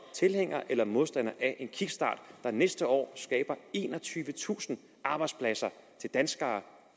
tilhænger eller modstander af en kickstart der næste år skaber enogtyvetusind arbejdspladser til danskerne